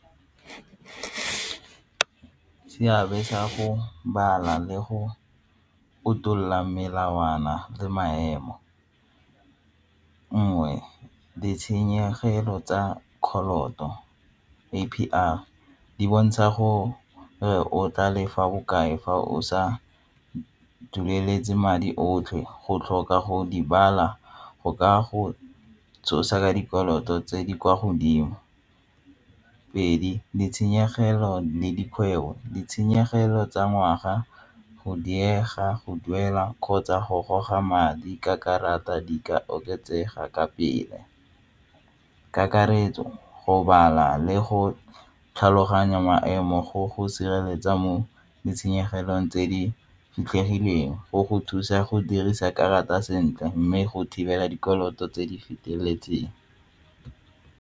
Seabe sa go bala le go otlolola melawana le maemo, nngwe ditshenyegelo tsa A_P_R di bontsha gore re o tla le fa bokae fa o sa dueletse madi otlhe go tlhoka go di bala go ka go tsosa dikoloto tse di kwa godimo. Pedi, ditshenyegelo le dikgwebo, ditshenyegelo tsa ngwaga go diega go duela kgotsa go goga madi ka karata di ka oketsega ka pele. Kakaretso go bala le go tlhaloganya maemo go go sireletsa mo ditshenyegelong tse di fitlhegileng go go thusa go dirisa karata sentle mme go thibela dikoloto tse di feteletseng.